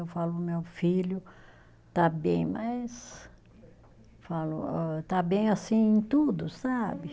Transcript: Eu falo, meu filho, está bem, mas falo ó está bem assim em tudo, sabe?